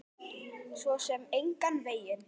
Svo sem engan veginn